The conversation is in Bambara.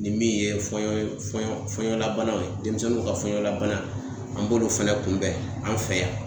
Nin min ye fɔɲɔn fɔɲɔnlabanaw ye, denmisɛnninw ka fɔɲɔna bana, an b'olu fɛnɛ kunbɛn an fɛ yan.